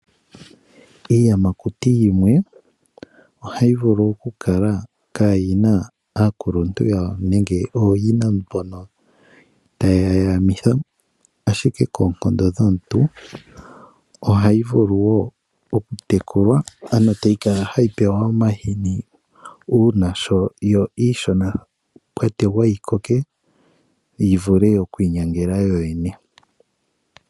Iiyamakuti yimwe ohayi vulu okukala kaayi na ooyina mbono taye yi yamitha, ashike koonkondo dhomuntu ohayi vulu wo okutekulwa ano tayi kala hayi pewa omahini manga yo iishona kwa tegwa yi koke yi vule oku inyangela yoyene.